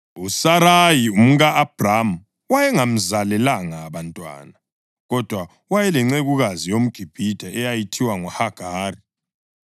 USarayi umka-Abhrama wayengamzalelanga bantwana. Kodwa wayelencekukazi yomGibhithe eyayithiwa nguHagari;